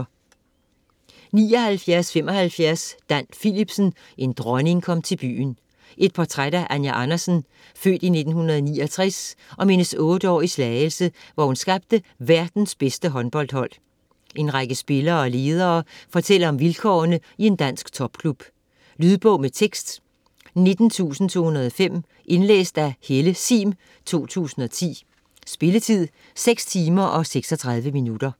79.75 Philipsen, Dan: En dronning kom til byen Et portræt af Anja Andersen (f. 1969), om hendes otte år i Slagelse, hvor hun skabte verdens bedste håndboldhold. En række spillere og ledere fortæller om vilkårene i en dansk topklub. Lydbog med tekst 19205 Indlæst af Helle Sihm, 2010. Spilletid: 6 timer, 36 minutter.